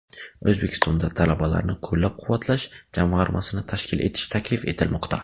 O‘zbekistonda Talabalarni qo‘llab-quvvatlash jamg‘armasini tashkil etish taklif etilmoqda.